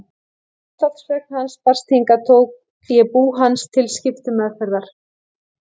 Þegar andlátsfregn hans barst hingað tók ég bú hans til skiptameðferðar.